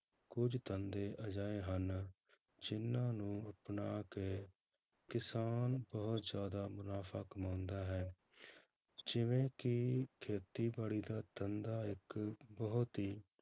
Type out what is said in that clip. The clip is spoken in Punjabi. ਕੁੱਝ ਧੰਦੇ ਅਜਿਹੇ ਹਨ ਜਿੰਨਾਂ ਨੂੰ ਅਪਣਾ ਕੇ ਕਿਸਾਨ ਬਹੁਤ ਜ਼ਿਆਦਾ ਮੁਨਾਫ਼ਾ ਕਮਾਉਂਦਾ ਹੈ, ਜਿਵੇਂ ਕਿ ਖੇਤੀਬਾੜੀ ਦਾ ਧੰਦਾ ਇੱਕ ਬਹੁਤ ਹੀ